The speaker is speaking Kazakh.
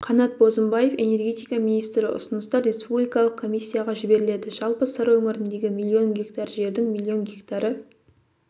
қанат бозымбаев энергетика министрі ұсыныстар республикалық комиссияға жіберіледі жалпы сыр өңіріндегі миллион гектар жердің миллион гектары